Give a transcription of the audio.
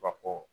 Ka ko